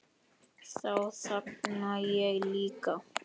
Þá þagna ég líka.